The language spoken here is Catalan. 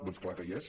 doncs clar que hi és